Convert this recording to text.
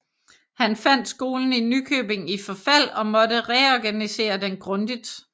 Han fandt skolen i Nykøbing i forfald og måtte reorganisere den grundigt